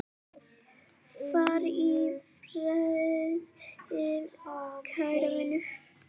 Far í friði, kæri vinur.